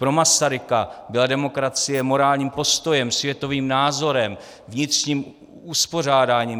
Pro Masaryka byla demokracie morálním postojem, světovým názorem, vnitřním uspořádáním.